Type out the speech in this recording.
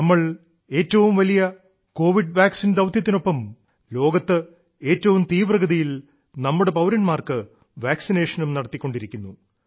നമ്മൾ ഏറ്റവും വലിയ കോവിഡ് വാക്സിൻ പ്രോഗ്രാമിന് ഒപ്പം ലോകത്ത് ഏറ്റവും തീവ്രഗതിയിൽ നമ്മുടെ പൌര•ാർക്ക് വാക്സിനേഷനും നടത്തിക്കൊണ്ടിരിക്കുന്നു